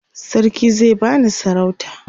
sarki zai bani sarauta